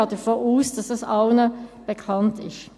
Ich gehe davon aus, dass es allen bekannt ist.